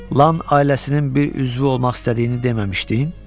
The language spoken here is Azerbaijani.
Lan ailəsinin bir üzvü olmaq istədiyini deməmişdin?